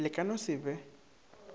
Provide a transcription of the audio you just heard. le ka no se be